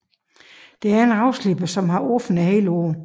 Der er en ravsliber som har åbent hele året